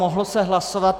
Mohlo se hlasovat.